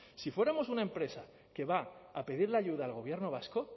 si fuéramos una empresa que va a pedir la ayuda al gobierno vasco